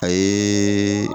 A ye